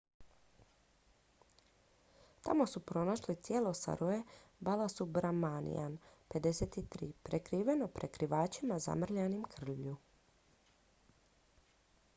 tamo su pronašli tijelo saroje balasubramanian 53 prekriveno pokrivačima zamrljanima krvlju